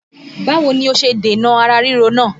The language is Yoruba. Báwo ni o ṣe dènà ara ríro náà?